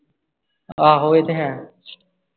ਆਹੋ ਇਹ ਤੇ ਹੈ ।